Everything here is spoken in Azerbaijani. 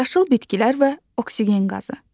Yaşıl bitkilər və oksigen qazı.